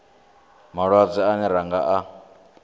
malwadze ane ra nga a